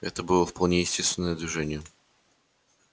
это было вполне естественное движение